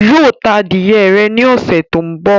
Yóò ta adìyẹ rẹ̀ ní ọ̀ṣẹ̀ tó ń bọ̀